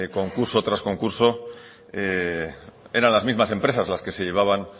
concurso tras concurso eran las mismas empresas las que se llevaban